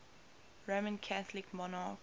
roman catholic monarchs